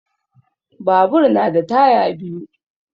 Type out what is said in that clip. Babur na da taya biyu